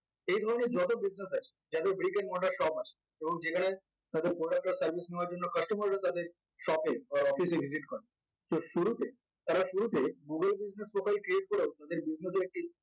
এইগুলো নিয়ে যত business আছে যাদের shop আছে এবং যেখানে তাদের product বা service নেওয়ার জন্য customer রা তাদের shop or office visit করে so শুরুতে তারা শুরুতে business profiel create করেও তাদের